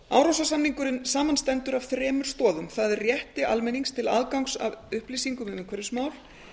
árósasamningurinn samanstendur af þremur stoðum það er rétti almennings til aðgangs að upplýsingum um umhverfismál